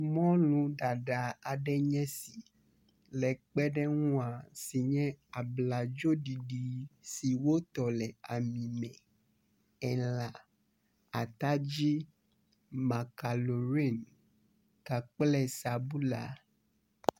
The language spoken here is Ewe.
mɔlu ɖaɖa aɖe nye esi le kpeɖeŋua abladzo ɖiɖi si wótɔ le ami me elã atadzi makalori kakple sabula